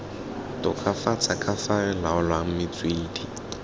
tokafatsa kafa re laolang metswedi